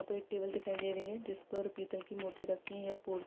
यहा पे एक टेबुल दिखाई दे रही है | जिस पर पीतल की मूर्ति रखी है |